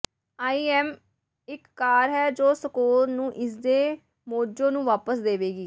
ਆਈ am ਇਕ car ਹੈ ਜੋ ਸਕੋਨ ਨੂੰ ਇਸਦੇ ਮੋਜ਼ੋ ਨੂੰ ਵਾਪਸ ਦੇਵੇਗੀ